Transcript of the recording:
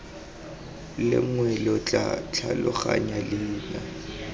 lengwe lo tla tlhaloganya leina